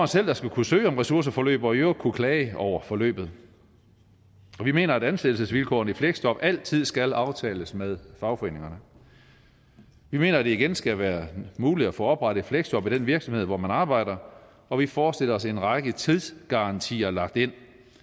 selv der skal kunne søge om ressourceforløb og i øvrigt kunne klage over forløbet vi mener at ansættelsesvilkårene i fleksjob altid skal aftales med fagforeningerne vi mener at det igen skal være muligt at få oprettet et fleksjob i den virksomhed hvor man arbejder og vi forestiller os en række tidsgarantier lagt ind